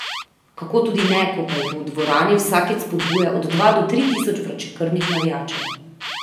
Kako tudi ne, ko pa jih v dvorani vsakič spodbuja od dva do tri tisoč vročekrvnih navijačev.